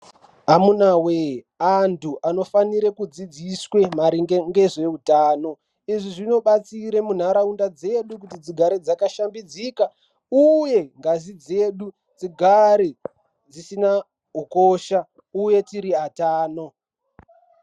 Amunawee antu anofanire kudzidziswe maringe ngezveutano. Izvi zvinobatsira munharaunda dzedu kuti dzigare dzakashambidzika uye ngazi dzedu dzigare dzisina ukosha uye tiri atano.